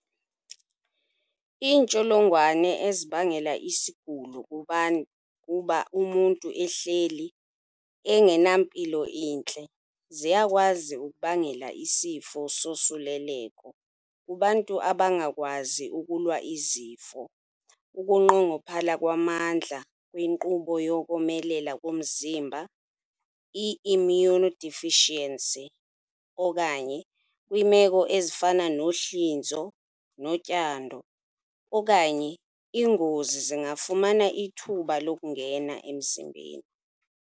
Iintsholongwane ezibangela isigulo kuba umntu ehleli enganampilo intle ziyakwazi ukubangela isifo sosuleleko kubantu abangakwazi ukulwa izifo, ukunqongophala kwamandla kwinkqubo yokomelela komzimba - i-immunodeficiency, okanye kwiimeko ezifana nohlinzo notyando okanye ingozi zingafumana ithuba lokungena embzimbeni.